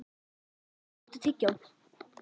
Jensína, áttu tyggjó?